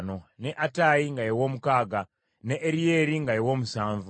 ne Attayi nga ye w’omukaaga, ne Eryeri nga ye w’omusanvu,